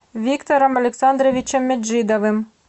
виктором александровичем меджидовым